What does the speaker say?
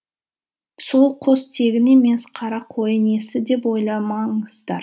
сол қос тегін емес қара қойы несі деп ойламаңыздар